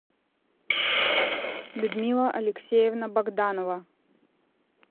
людмила алексеевна богданова